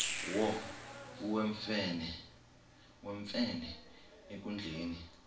wo iwemfene enkundleni